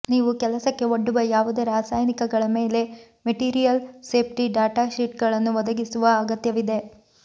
ನೀವು ಕೆಲಸಕ್ಕೆ ಒಡ್ಡುವ ಯಾವುದೇ ರಾಸಾಯನಿಕಗಳ ಮೇಲೆ ಮೆಟೀರಿಯಲ್ ಸೇಫ್ಟಿ ಡಾಟಾ ಶೀಟ್ಗಳನ್ನು ಒದಗಿಸುವ ಅಗತ್ಯವಿದೆ